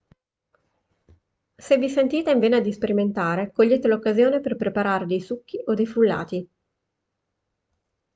se vi sentite in vena di sperimentare cogliete l'occasione per preparare dei succhi o dei frullati